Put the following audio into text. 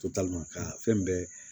Totali ma ka fɛn bɛɛ